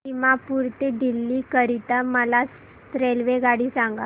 दिमापूर ते दिल्ली करीता मला रेल्वेगाडी सांगा